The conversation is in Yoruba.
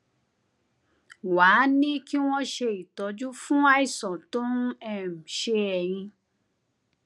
wá a ní kí wón ṣe ìtọjú fún àìsàn tó ń um ṣe ẹyìn